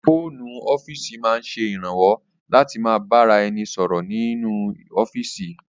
Fóònù ọ́fíìsì máa ń ṣe ìrànwọ́ láti ma bá ra ẹni sọ̀rọ̀ nínú ọ́fíìsì